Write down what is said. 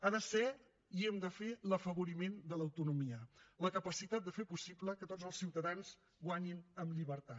ha de ser i hem de fer l’afavoriment de l’autonomia la capacitat de fer possible que tots els ciutadans guanyin en llibertat